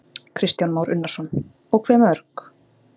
Kristján Már Unnarsson: Og hve mörg?